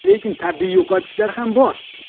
Lekin tabiiy yo‘qotishlar ham bor.